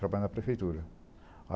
Trabalhar na prefeitura.